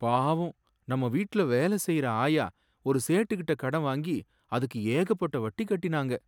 பாவம், நம்ம வீட்டுல வேலை செய்யற ஆயா ஒரு சேட்டுட்ட கடன் வாங்கி அதுக்கு ஏகப்பட்ட வட்டி கட்டினாங்க.